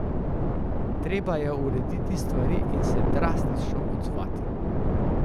Treba je urediti stvari in se drastično odzvati.